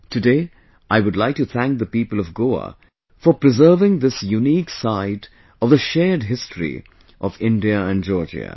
Today, I would like to thank the people of Goa for preserving this unique side of the shared history of India and Georgia